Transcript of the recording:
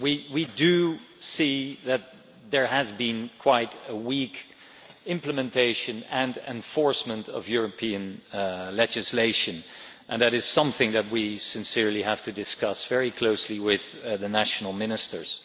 We do see that there has been quite a weak implementation and enforcement of European legislation and that is something that we sincerely have to discuss very closely with the national ministers.